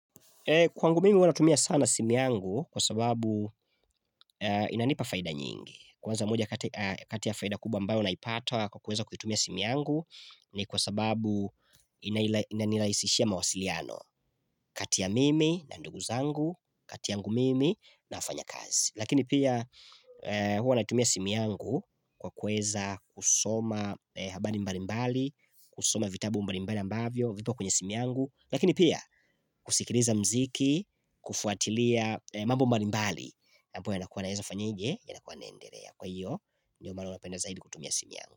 Kwa ngu mimi huwanatumia sana simi yangu kwa sababu inanipa faida nyingi Kwaanza moja katiya faida kubwa ambao naipata kwa kuweza kutumia simu yangu ni kwa sababu inaniraisishia mawasiliano Katiya mimi na nduguzangu, katiyangu mimi na fanya kazi Lakini pia huwanatumia simu yangu kwa kuweza kusoma habari mbalimbali kusoma vitabu mbalimbali ambavyo, vipo kwenye simu yangu Lakini pia kusikiliza mziki, kufuatilia mambo mbali mbali ambayo ya naweza fanya je ya nakuwa naendelea Kwa hiyo, ndio maana napenda zaidi kutumia simu yangu.